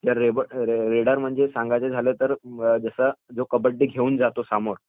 raider म्हणजे सांगायचं झालं तर जो कबड्डी घेऊन जातो समोर